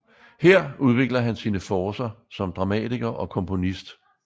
Her udvikler han sine forcer som dramatiker og komponist